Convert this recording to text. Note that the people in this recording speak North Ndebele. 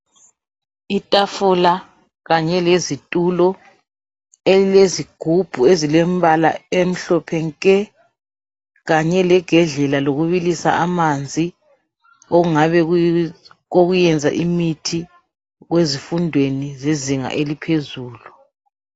Itafula kanye lezitulo elilezigubhu ezilombala emhlophe nke kanye legedlela lokubilisa amanzi ongabe kokuyenza imithi ezifundweni zezinga eliphezulu.